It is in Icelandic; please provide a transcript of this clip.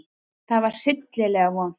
Það var hryllilega vont.